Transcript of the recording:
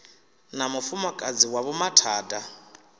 na mufumakadzi wa vho mathada